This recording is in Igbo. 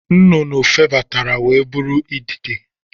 Nnụnụ febatara wee bụrụ idide